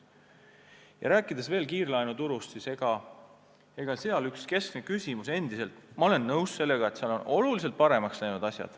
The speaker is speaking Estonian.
Kui veel kiirlaenuturust rääkida, siis ma olen nõus, et seal on asjad oluliselt paremaks läinud.